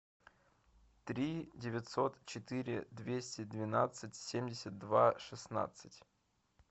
три девятьсот четыре двести двенадцать семьдесят два шестнадцать